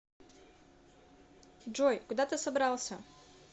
джой куда ты собрался